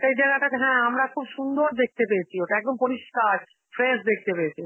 সেই জায়গাটা থে~ হ্যাঁ আমরা খুব সুন্দর দেখতে পেয়েছি ওটা, একদম পরিষ্কার, fresh দেখতে পেয়েছি.